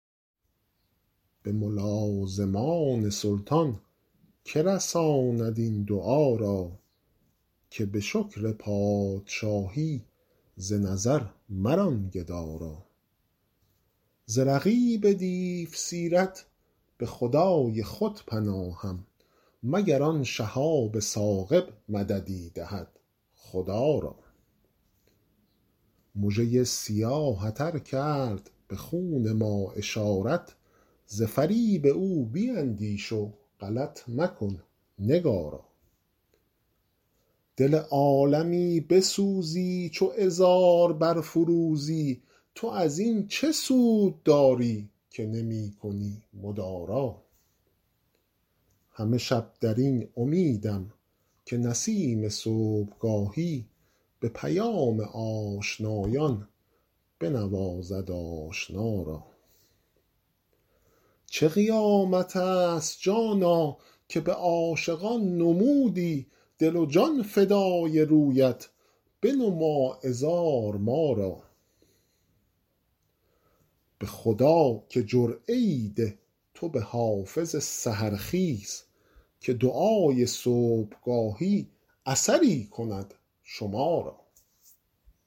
به ملازمان سلطان که رساند این دعا را که به شکر پادشاهی ز نظر مران گدا را ز رقیب دیوسیرت به خدای خود پناهم مگر آن شهاب ثاقب مددی دهد خدا را مژه ی سیاهت ار کرد به خون ما اشارت ز فریب او بیندیش و غلط مکن نگارا دل عالمی بسوزی چو عذار برفروزی تو از این چه سود داری که نمی کنی مدارا همه شب در این امیدم که نسیم صبحگاهی به پیام آشنایان بنوازد آشنا را چه قیامت است جانا که به عاشقان نمودی دل و جان فدای رویت بنما عذار ما را به خدا که جرعه ای ده تو به حافظ سحرخیز که دعای صبحگاهی اثری کند شما را